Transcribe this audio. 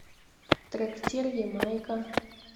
трактир ямайка